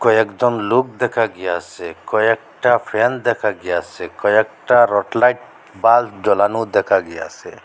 কয়েকজন লোক দেখা গিয়াছে কয়েকটা ফ্যান দেখা গিয়াছে কয়েকটা রট লাইট বাল্ব জ্বলানো দেখা গিয়াছে।